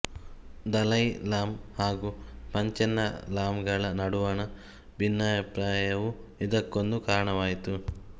ದಲೈ ಲಾಮ ಹಾಗೂ ಪಂಚೆನ್ ಲಾಮಗಳ ನಡುವಣ ಭಿನ್ನಾಭಿಪ್ರಾಯವೂ ಇದಕ್ಕೊಂದು ಕಾರಣವಾಯಿತು